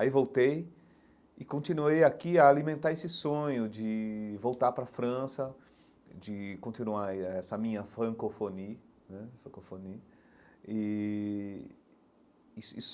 Aí voltei e continuei aqui a alimentar esse sonho de voltar para a França, de continuar aí essa minha francofonie né francofonie e.